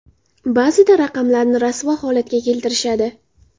Ba’zida raqamlarni rasvo holatga keltirishadi.